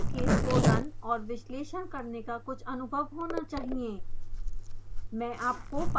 और openfoam case को run और विश्लेषण करने का कुछ अनुभव होना चहिए